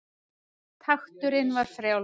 Takturinn var frjáls.